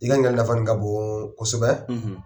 I ka ɲininkali nafa nin ka bon kosɛbɛ